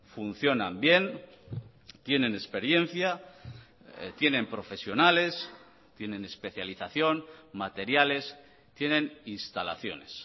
funcionan bien tienen experiencia tienen profesionales tienen especialización materiales tienen instalaciones